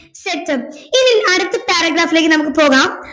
ശരി sir ഇനി അടുത്ത paragraph ലേക്ക് നമുക്ക് പോകാം